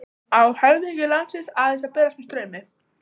Á höfðingi landsins aðeins að berast með straumi?